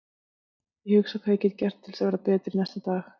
Ég hugsa hvað ég get gert til að verða betri næsta dag.